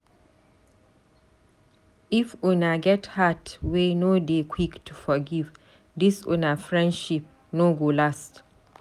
If una get heart wey no dey quick to forgive, dis una friendship no go last.